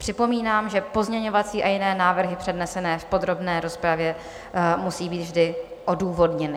Připomínám, že pozměňovací a jiné návrhy přednesené v podrobné rozpravě musí být vždy odůvodněny.